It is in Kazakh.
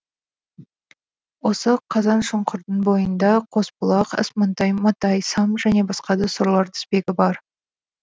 осы қазаншұңқырдың бойында қосбұлақ асмантай матай сам және басқа да сорлар тізбегі бар